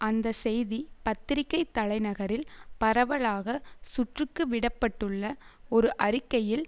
அந்த செய்தி பத்திரிக்கை தலைநகரில் பரவலாக சுற்றுக்கு விட பட்டுள்ள ஒரு அறிக்கையில்